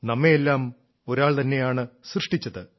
നമ്മെയെല്ലാം ഒരാൾ തന്നെയാണ് സൃഷ്ടിച്ചത്